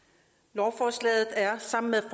lovforslaget er sammen med